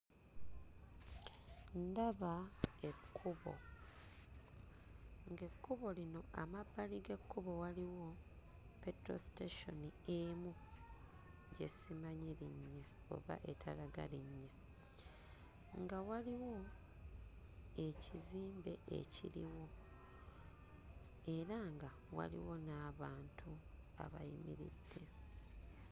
Ndaba ekkubo ng'ekkubo lino amabbali g'ekkubo waliwo petrol station emu gye simanyi linnya oba etalaga linnya nga waliwo ekizimbe ekiriwo era nga waliwo n'abantu abayimiridde.